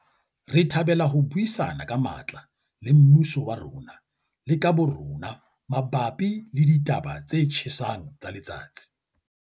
Re thabela ho buisana ka matla le mmuso wa rona le ka bo rona mabapi le ditaba tse tjhesang tsa letsatsi.